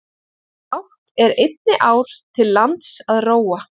Bágt er einni ár til lands að róa.